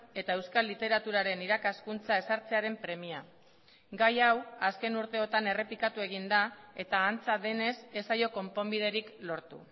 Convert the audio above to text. eta euskal literaturaren irakaskuntza ezartzearen premia gai hau azken urteotan errepikatu egin da eta antza denez ez zaio konponbiderik lortu